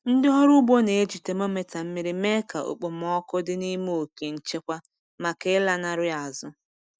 Ndị ọrụ ugbo na-eji temometa mmiri mee ka okpomọkụ dị n'ime oke nchekwa maka ịlanarị azụ.